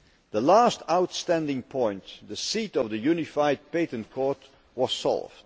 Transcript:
The last outstanding point, the seat of the Unified Patent Court, was solved.